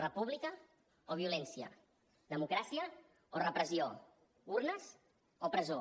república o violència democràcia o repressió urnes o presó